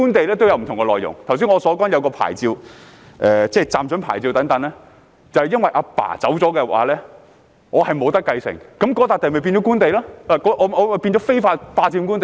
正如我剛才提到的一種牌照，即暫准牌照，便因為父親離世後我不能繼承，令該塊土地變成官地，我變成非法霸佔官地。